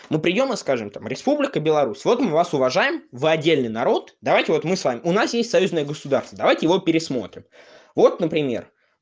ну приёма скажем там республика беларусь вот мы вас уважаем вы отдельный народ давайте вот мы с вами у нас есть союзное государство давайте его пересмотрим вот например